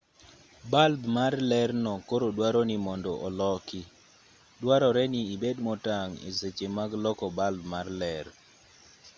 balb mar lerno koro duaro ni mondo oloki duarore ni ibed motang' e seche mag loko balb mar ler